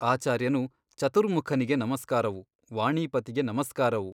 ಆಚಾರ್ಯನು ಚತುರ್ಮುಖನಿಗೆ ನಮಸ್ಕಾರವು ವಾಣೀಪತಿಗೆ ನಮಸ್ಕಾರವು.